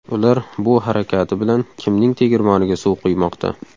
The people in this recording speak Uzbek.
Ular bu harakati bilan kimning tegirmoniga suv quymoqda?